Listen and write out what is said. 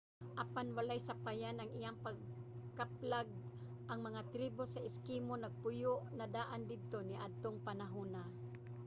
apan walay sapayan sa iyang pagkaplag ang mga tribo sa eskimo nagpuyo na daan didto niadtong panahona